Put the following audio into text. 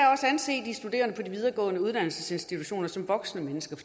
anse de studerende på de videregående uddannelsesinstitutioner som voksne mennesker